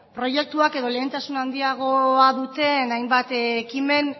proiektuak edo lehentasun handiagoa duten hainbat ekimen